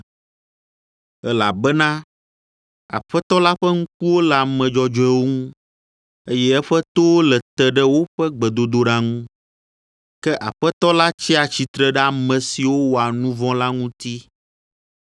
Elabena Aƒetɔ la ƒe ŋkuwo le ame dzɔdzɔewo ŋu, eye eƒe towo le te ɖe woƒe gbedodoɖa ŋu, ke Aƒetɔ la tsia tsitre ɖe ame siwo wɔa nu vɔ̃ la ŋuti.”